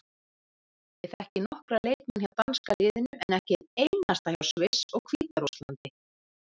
Ég þekki nokkra leikmenn hjá danska liðinu en ekki einn einasta hjá Sviss og Hvíta-Rússlandi.